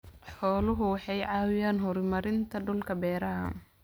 Xooluhu waxay caawiyaan horumarinta dhulka beeraha.